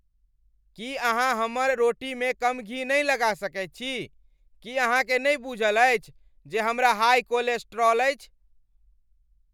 की अहाँ हमर रोटीमे कम घी नहि लगा सकैत छी? की अहाँकेँ नहि बूझल अछि जे हमरा हाइ कोलेस्ट्रॉल अछि?